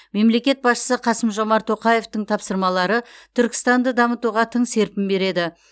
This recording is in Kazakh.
мемлекет басшысы қасым жомар тоқаевтың тапсырмалары түркістанды дамытуға тың серпін береді